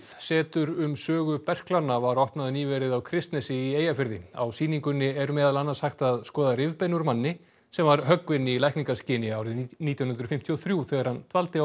setur um sögu berklanna var opnað nýverið á Kristnesi í Eyjafirði á sýningunni er meðal annars hægt að skoða rifbein úr manni sem var höggvinn í lækningaskyni árið nítján hundruð fimmtíu og þrjú þegar hann dvaldi á